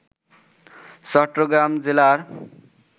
চট্টগ্রাম জেলার